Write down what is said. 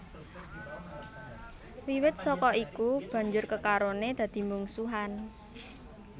Wiwit saka iku banjur kekarone dadi mungsuhan